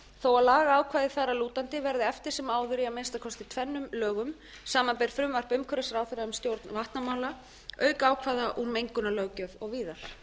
þó lagaákvæði þar að lútandi verði eftir sem áður í að minnsta kosti tvennum lögum samanber frumvarp umhverfisráðherra um stjórn vatnamála auk ákvæða úr mengunarlöggjöf og víðar